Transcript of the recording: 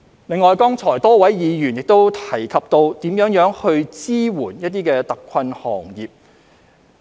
另外，多位議員亦提及怎樣支援特困行業。